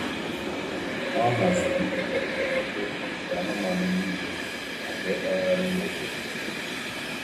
Ọ haziri mgbanwe foto anụ ụlọ ndị a kpuo uwe maka mmemme ógbè.